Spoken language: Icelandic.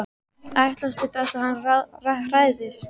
Ætlast til þess að hann hræðist.